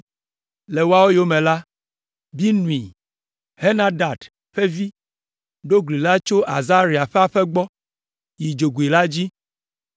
Le woawo yome la, Binui, Henadad ƒe vi ɖo gli la tso Azaria ƒe aƒe gbɔ yi dzogoe la dzi,